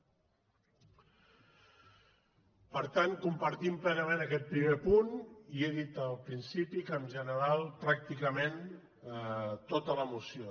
per tant compartim plenament aquest primer punt i he dit al principi que en general pràcticament tota la moció